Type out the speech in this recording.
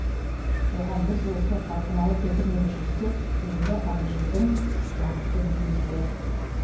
оған біз осы қалқымалы көпірмен шешсек енді абыржының уақыты дейміз ғой